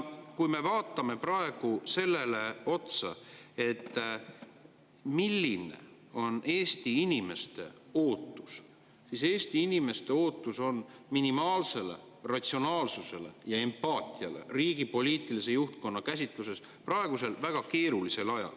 Kui me vaatame praegu, milline on Eesti inimeste ootus, siis Eesti inimeste ootus on minimaalsele ratsionaalsusele ja empaatiale riigi poliitilise juhtkonna käsitluses praegusel väga keerulisel ajal.